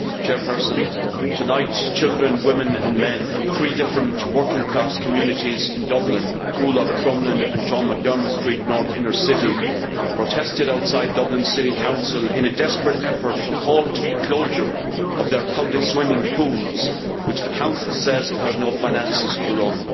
Madam President, tonight children, women and men from three different working class communities in Dublin Coolock, Crumlin and Sean McDermott Street in the North Inner City protested outside Dublin City Council in a desperate effort to halt the closure of their public swimming pools, which the Council says it has no finances to run.